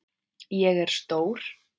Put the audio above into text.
Ég er stór.